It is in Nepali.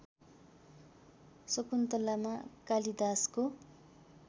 शकुन्तलामा कालिदासको